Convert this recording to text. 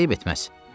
Ancaq eyib etməz.